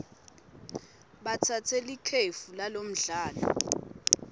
batsatse likefu kulomdlalo